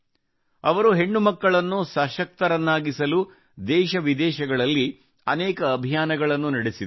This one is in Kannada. ಅವರು ಹೆಣ್ಣು ಮಕ್ಕಳನ್ನು ಸಶಕ್ತರನ್ನಾಗಿಸಲು ದೇಶ ವಿದೇಶಗಳಲ್ಲಿ ಅನೇಕ ಅಭಿಯಾನಗಳನ್ನು ನಡೆಸಿದರು